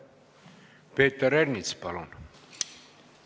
Peeter Ernits, palun!